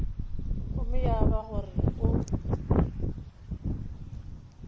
gomme ya ba gore o